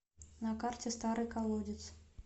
на карте старый колодец